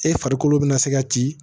E farikolo bɛna se ka ci